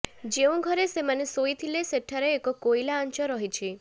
ଯେଉଁଘରେ ଏମାନେ ଶୋଇଥିଲେ ସେଠାରେ ଏକ କୋଇଲା ଆଞ୍ଚ ରହିଛି